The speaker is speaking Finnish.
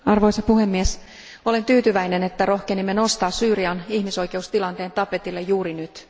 Arvoisa puhemies, olen tyytyväinen, että rohkenimme nostaa Syyrian ihmisoikeustilanteen tapetille juuri nyt.